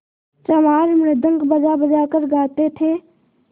चमार मृदंग बजाबजा कर गाते थे